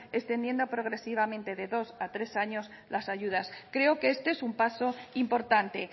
extendiendo progresivamente de dos a tres años las ayudas creo que este es un paso importante